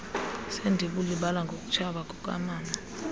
sendibulibala ngokutshaba kukamama